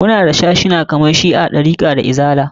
Muna da sashuna kamar shi'a, ɗarika da izala.